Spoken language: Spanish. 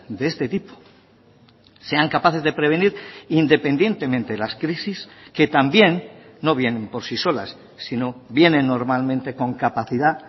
de este tipo sean capaces de prevenir independientemente las crisis que también no vienen por sí solas sino vienen normalmente con capacidad